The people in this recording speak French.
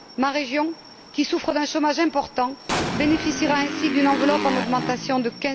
Ma région, qui souffre d'un chômage important, bénéficiera ainsi d'une enveloppe en augmentation de